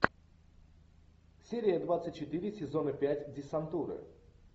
серия двадцать четыре сезона пять десантуры